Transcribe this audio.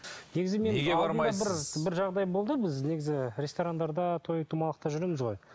бір жағдай болды біз негізі ресторандарда той томалақта жүреміз ғой